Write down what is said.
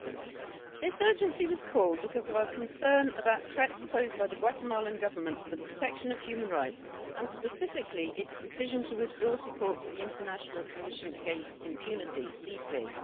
Mr President, this urgency was called because of our concern about threats posed by the Guatemalan Government to the protection of human rights and specifically its decision to withdraw support for the International Commission against Impunity CICIG